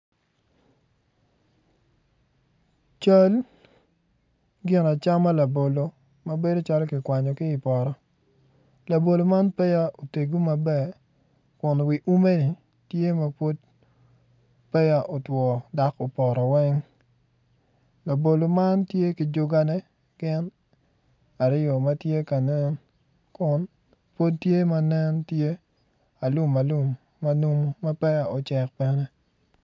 Cal ginacama labolo ma bedo calo kikwanyo kii poto kun ume tye otwo labolo man tye ki jubane mukene tye alumalum nencalo peya ocek.